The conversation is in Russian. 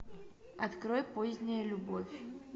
открой поздняя любовь